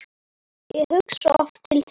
Ég hugsa oft til þín.